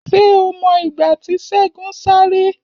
Ṣé o mọ ìgbà tí Segun sáré?